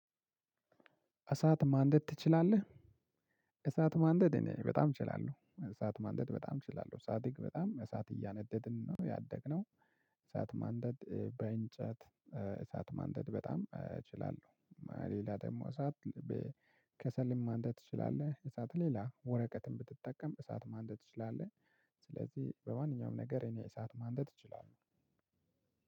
እሳት ማንደድ ትችላለህ? እሳት ማንደድ እኔ በጣም እችላለሁ እሳት ማንደድ በጣም እችላለሁ ሳድግ በጣም እሳት እያነደድን ነው ያደግነው እሳት ማንደድ በእንጨት እሳት ማንደድ በጣም እችላለሁ። ሌላ ደግሞ እሳት። ከሰልም ማንደድ ትችላለህ? እሳት ሌላ ወረቀትን ብትጠቀም እሳት ማንደድ ትችላለህ? ስለዚህ በማንኛውም ነገር እኔ እሳት ማንደድ እችላለሁ።